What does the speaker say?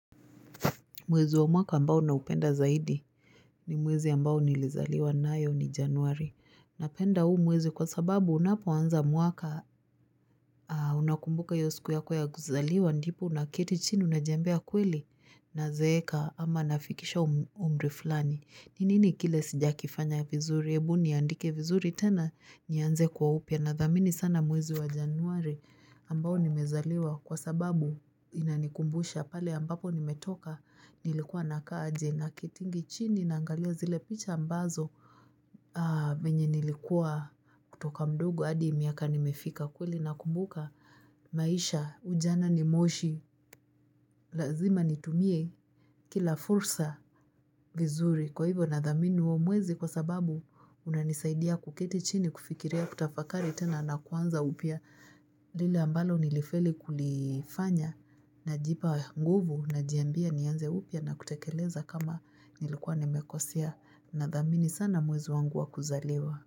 Mwezi wa mwaka ambao naupenda zaidi ni mwezi ambao nilizaliwa nayo ni januari. Napenda huu mwezi kwa sababu unapoanza mwaka unakumbuka hiyo siku yako ya kuzaliwa ndipo unaketi chini unajiambia kweli nazeeka ama nafikisha umri flani. Ni nini kile sijakifanya vizuri ebu niandike vizuri tena nianze kwa upya. Nadhamini sana mwezi wa januari ambao nimezaliwa kwa sababu inanikumbusha pale ambapo nimetoka nilikuwa nakaa aje naketingi chini naangalia zile picha ambazo venye nilikuwa kutoka mdogo adi miaka nimefika kweli nakumbuka maisha ujana ni moshi Lazima nitumie kila fursa vizuri kwa hivyo nadhamini huo mwezi kwa sababu unanisaidia kuketi chini kufikiria kutafakari tena na kuanza upya lile ambalo nilifeli kulifanya najipa nguvu najiambia nianze upya na kutekeleza kama nilikuwa nimekosea nadhamini sana mwezi wangu wa kuzaliwa.